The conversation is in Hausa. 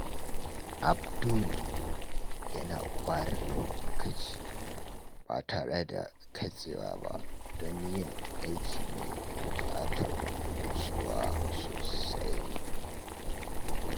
Abdul yana ware lokaci ba tare da katsewa ba don yin aiki mai bukatar nutsuwa sosai.